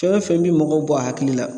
Fɛn o fɛn bi mɔgɔw bɔ a hakili la